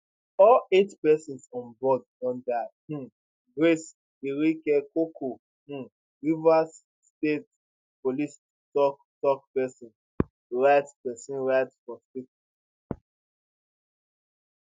all eight persons onboard don die um grace iringekoko um rivers state police toktok pesin write pesin write for statement